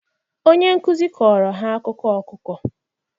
Onye nkuzi kọọrọ ha akụkọ ọkụkọ